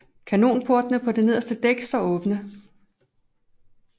Kanonportene på det nederste dæk står åbne